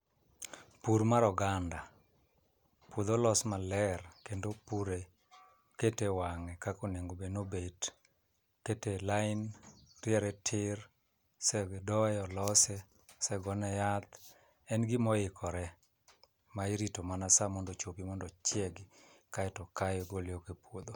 Pur mar oganda. Puodho olos maler kendo opure kete wang'e kakonegobed nobet, kete lain, ntiere tir sedoye lose, segone yath, en gimoikore ma irito mana sa mondo ochopi mondo ochiegi kaeto okaye ogole oko e puodho.